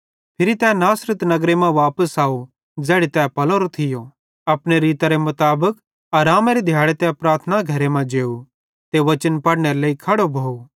फिरी तै नासरत नगर मां वापस अव ज़ैड़ी तै पलोरो थियो अपने रीतरे मुताबिक आरामेरे दिहाड़े तै प्रार्थना घरे मां जेव ते वचन पढ़नेरे लेइ खड़ो भोव